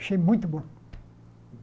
Achei muito bom.